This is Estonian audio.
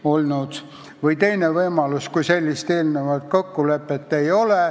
On ka teine võimalus, et sellist eelnevat kokkulepet ei ole.